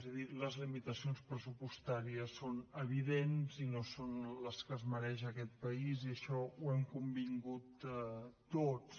és a dir les limitacions pressupostàries són evidents i no són les que es mereix aquest país i això ho hem convingut tots